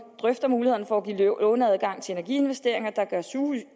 drøfter muligheden for at give låneadgang til energiinvesteringer der gør